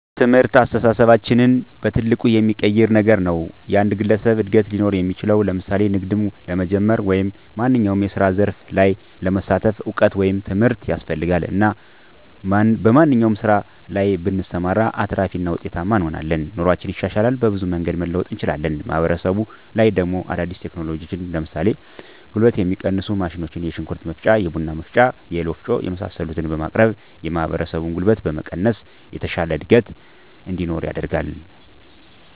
ትምህርት አስተሳሰባችንን በትልቁ የሚቀይር ነገር ነዉ። የአንድ ግለሰብ እድገት ሊኖር እሚችለዉ ለምሳሌ ንግድም ለመጀመር ወይም ማንኛዉም የስራ ዘርፍ ላይ ለመሳተፍ እዉቀት ወይም ትምህርት ያስፈልጋል እና በማንኛዉም ስራ ላይ ብንሰማራ አትራፊ እና ዉጤታማ እንሆናለን። ኑሮአችን ይሻሻላል፣ በብዙ መንገድ መለወጥ እንችላለን። ማህበረሰቡ ላይ ደሞ አዳዲስ ቴክኖሎጂዎችን ለምሳሌ ጉልበትን የሚቀንሱ ማሽኖች የሽንኩርት መፍጫ፣ የቡና መፍጫ፣ የእህል ወፍጮ የመሳሰሉትን በማቅረብ ማህበረሰቡን ጉልበት በመቀነስ የተሻለ እድገት እንዲኖር ያደርጋል።